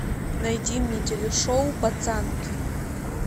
найди мне телешоу пацанки